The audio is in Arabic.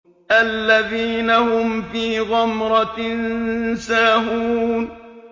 الَّذِينَ هُمْ فِي غَمْرَةٍ سَاهُونَ